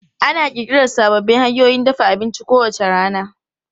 Ana ƙirƙira sababbin hanyoyin dafa abinci kowace rana.